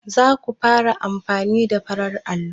Za ku fara amfani da farar allo?